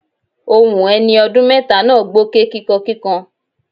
Ohun ẹni ọdún mẹ́ta náà gbóké kíkankíkan.